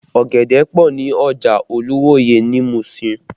Ọ̀gẹ̀dẹ̀ pọ ní ọjà Ojuwoye ní Musin